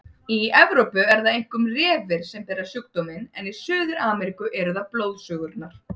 Í Evrópu eru það einkum refir sem bera sjúkdóminn en í Suður-Ameríku eru það blóðsugurnar.